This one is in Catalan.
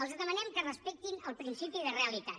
els demanem que respectin el principi de realitat